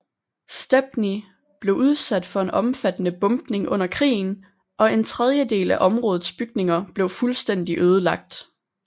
Stepney blev udsat for en omfattende bombning under krigen og en tredjedel af områdets bygninger blev fuldstændig ødelagt